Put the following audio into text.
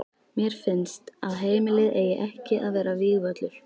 Mér finnst að heimilið eigi ekki að vera vígvöllur.